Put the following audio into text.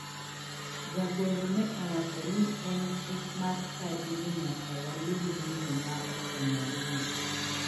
Jagoro ne owacho ni en chik mar chadi ni nyaka walim miyo ma okonyoreno.